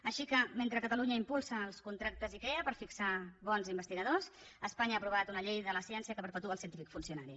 així que mentre catalunya impulsa els contractes icrea per fixar bons investigadors espanya ha aprovat una llei de la ciència que perpetua el científic funcionari